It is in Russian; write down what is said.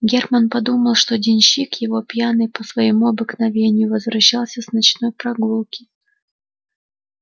германн думал что денщик его пьяный по своему обыкновению возвращался с ночной прогулки